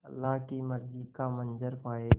अल्लाह की मर्ज़ी का मंज़र पायेगा